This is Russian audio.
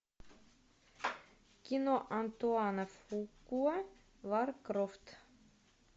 кино антуана фукуа лара крофт